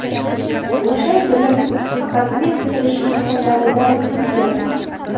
O‘sha yili faqat men kirish imtihonlaridan yiqilganman.